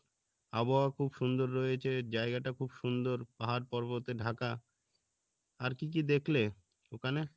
আবহাওয়া খুব সুন্দর রয়েছে জায়গাটা খুব সুন্দর পাহাড় পর্বতে ঢাকা আর কী কী দেখলে ওখানে?